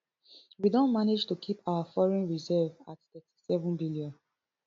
we don manage to keep our foreign reserve at thirty-seven billion